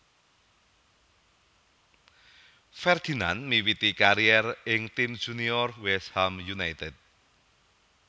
Ferdinand miwiti karier ing tim junior West Ham United